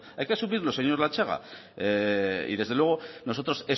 hay que asumirlos señor latxaga y desde luego nosotros